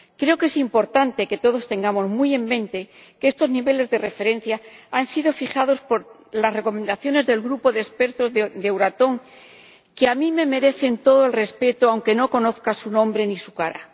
Creo que es importante que todos tengamos muy en mente que estos niveles de referencia han sido fijados por las recomendaciones del grupo de expertos de Euratom, que a mí me merecen todo el respeto, aunque no conozca su nombre ni su cara.